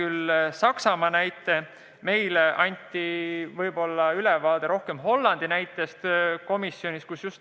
Tema tõi Saksamaa näite, meile anti ülevaade rohkem Hollandist.